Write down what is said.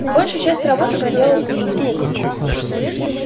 большую часть работы проделал куинн